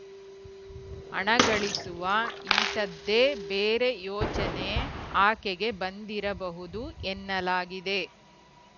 ಹಣ ಗಳಿಸುವ ಇಂಥದ್ದೇ ಬೇರೆ ಯೋಚನೆ ಆಕೆಗೆ ಬಂದಿರಬಹುದು ಎನ್ನಲಾಗಿದೆ